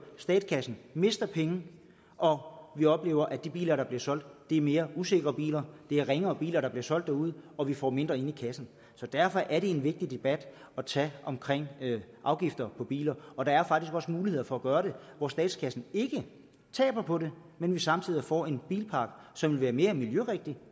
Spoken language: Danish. statskassen mister penge og vi oplever at de biler der bliver solgt er mere usikre biler det er ringere biler der bliver solgt derude og vi får mindre ind i kassen så derfor er det en vigtig debat at tage om afgifter på biler og der er faktisk også muligheder for at gøre det hvor statskassen ikke taber på det men vi samtidig får en bilpark som vil være mere miljørigtig